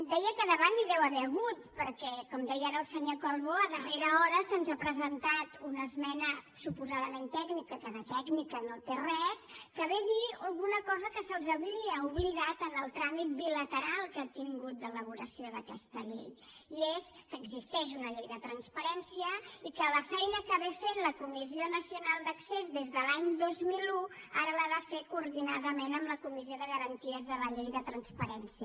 deia que de debat n’hi deu haver hagut perquè com deia ara el senyor calbó a darrera hora se’ns ha presentat una esmena suposadament tècnica que de tècnica no en té res que ve a dir alguna cosa que se’ls havia oblidat en el tràmit bilateral que han tingut d’elaboració d’aquesta llei i és que existeix una llei de transparència i que la feina que fa la comissió nacional d’accés des de l’any dos mil un ara l’ha de fer coordinadament amb la comissió de garanties de la llei de transparència